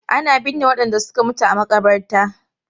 Ana binne wadanda suka mutu a makabarta.